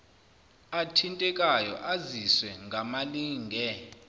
athintekayo aziswe ngamalinge